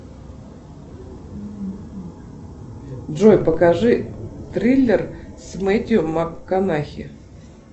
джой покажи триллер с мэттью макконахи